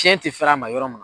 Cɛn tɛ fɛɛrɛ a ma yɔrɔ min.